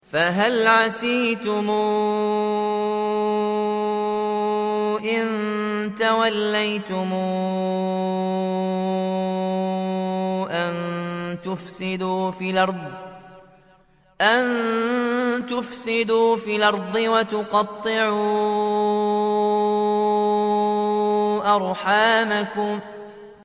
فَهَلْ عَسَيْتُمْ إِن تَوَلَّيْتُمْ أَن تُفْسِدُوا فِي الْأَرْضِ وَتُقَطِّعُوا أَرْحَامَكُمْ